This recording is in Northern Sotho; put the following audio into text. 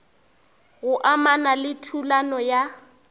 go amana le thulano ya